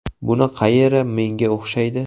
Buni qayeri menga o‘xshaydi.